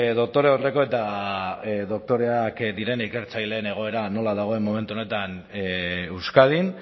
doktore aurreko eta doktoreak diren ikertzaileen egoera nola dagoen momentu honetan euskadin